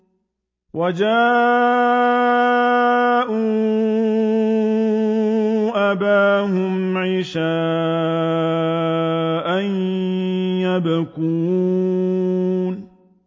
وَجَاءُوا أَبَاهُمْ عِشَاءً يَبْكُونَ